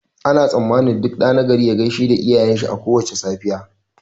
Ana tsammanin duk ɗa nagari ya gaishe iyayen shi a kowace safiya